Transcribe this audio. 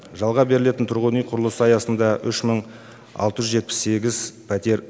жалға берілетін тұрғын үй құрылысы аясында үш мың алты жүз жетпіс сегіз пәтер